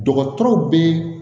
Dɔgɔtɔrɔw bɛ